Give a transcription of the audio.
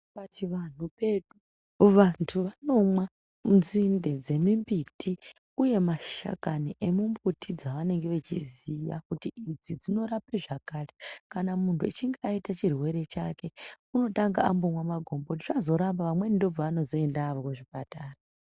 Pachianhu pedu, vantu vanonwa nzinde dzemimiti uye mashakani emimbiti dzavanenge vachiziva kuti idzi dzinorapa zvakati. Kana muntu achinge aita chirwere chake unotanga ambonwa magomboti zvazo ramba amweni ndipo paanozoenda kuchipatara.